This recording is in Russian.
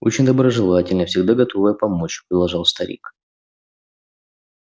очень доброжелательная всегда готовая помочь продолжал старик